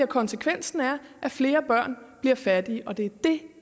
konsekvensen er at flere børn bliver fattige og det er det